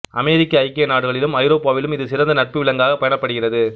அமெரிக்க ஐக்கிய நாடுகளிலும் ஐரோப்பாவிலும் இது சிறந்த நட்பு விலங்காகப் பேணப்படுகிறது